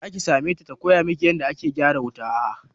Zaki same ta ta koya miki yanda ake gyaran wuta?